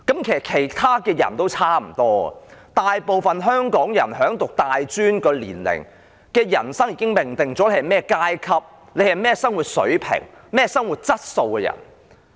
其他人也差不多，大部分香港人在入讀大專的年齡已經命定了你是甚麼階級、甚麼生活水平、甚麼生活質素的人。